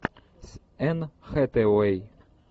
с энн хэтэуэй